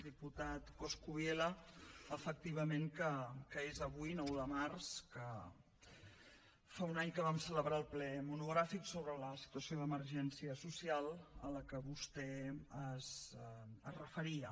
diputat coscubiela efectivament que és avui nou de març que fa un any que vam celebrar el ple monogràfic sobre la situació d’emergència social a la que vostè es referia